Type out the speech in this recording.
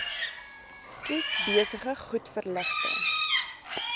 kies besige goedverligte